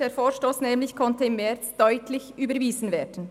der Vorstoss konnte nämlich im März deutlich überwiesen werden.